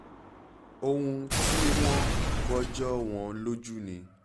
ohun tí wọ́n gbọ́ jọ wọ́n lójú ni